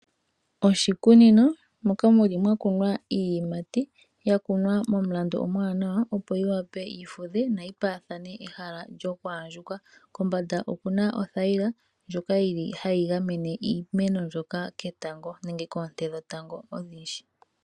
Oshikunino moka mwakunwa iiyimati, yakunwa momulandu omuwanawa opo wape yimene noyi paathane ehala lyokwaandjuka. Kombanda okuna othayila ndjoka hayi gamene iimeno mbyoka ketango nenge koonte dhetango odhindji.